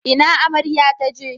Ina amarya taje?